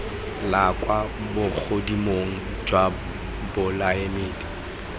la kwa bogodimong jwa bolaodi